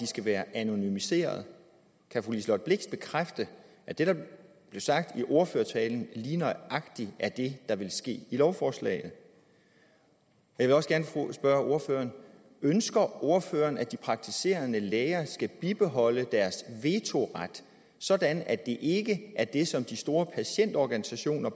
skal være anonymiseret kan fru liselott blixt bekræfte at det der blev sagt i ordførertalen lige nøjagtig er det der vil ske i lovforslaget jeg også gerne spørge ordføreren ønsker ordføreren at de praktiserende læger skal bibeholde deres vetoret sådan at det ikke er det som de store patientorganisationer